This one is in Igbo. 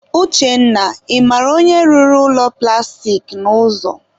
Uchenna, ị mara onye rụrụ ụlọ plastik a n'ụzọ?